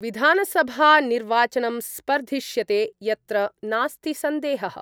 विधानसभानिर्वाचनं स्पर्धिष्यते यत्र नास्ति सन्देहः।